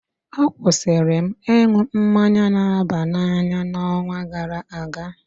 Akwụsịrị m ịn̄ụ mmanya na-aba n'anya n'ọnwa gara aga